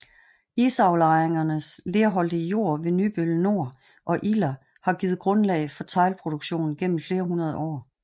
Isaflejringernes lerholdige jord ved Nybøl Nor og Iller har givet grundlag for teglproduktion gennem flere hundrede år